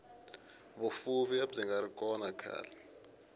vufuvi abyingari kona khale